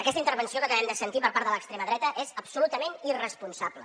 aquesta intervenció que acabem de sentir per part de l’extrema dreta és absolutament irresponsable